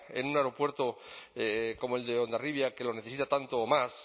en un aeropuerto como el de hondarribia que lo necesita tanto o más